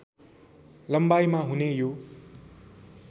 लम्बाइमा हुने यो